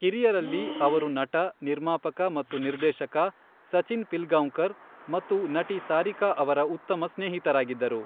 ಕಿರಿಯರಲ್ಲಿ, ಅವರು ನಟ, ನಿರ್ಮಾಪಕ ಮತ್ತು ನಿರ್ದೇಶಕ ಸಚಿನ್ ಪಿಲ್ಗಾಂವ್ಕರ್ ಮತ್ತು ನಟಿ ಸಾರಿಕಾ ಅವರ ಉತ್ತಮ ಸ್ನೇಹಿತರಾಗಿದ್ದರು.